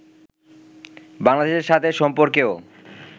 বাংলাদেশের সাথে সম্পর্কেও